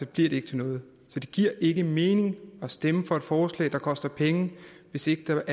det ikke til noget det giver ikke mening at stemme for et forslag der koster penge hvis ikke der